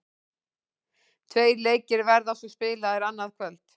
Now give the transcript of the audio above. Tveir leikir verða svo spilaðir annað kvöld.